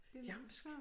Jamsk